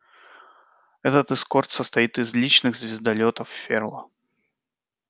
этот эскорт состоит из личных звездолётов ферла